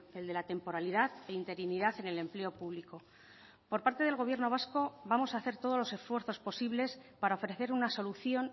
el de la temporalidad e interinidad en el empleo público por parte del gobierno vasco vamos a hacer todos los esfuerzos posibles para ofrecer una solución